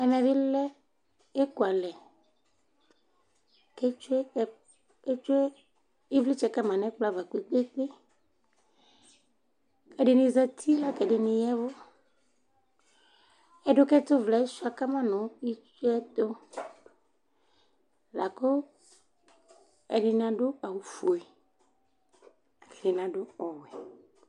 Ɛmɛ bɩ lɛ ekualɛ ,k 'etsue ɩvlɩtsɛ ka ma n ' ɛkplɔ ava kpekpekpeƐdɩnɩ zati la k' ɛdɩnɩ yaɛvʋ; ɛdʋkɛtʋ vlɛɛ sʋɩa kama nʋ itsuɛtʋ Lakʋ ɛdɩnɩ adʋ awʋ fue, ɛdɩnɩ adʋ ɔwɛ